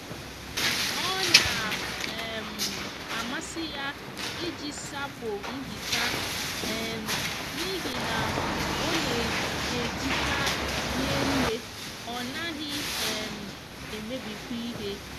o na um amasi ya iji sapo nhicha um n'ihi na o n'ejicha ri nne o naghi um emebikwa ihe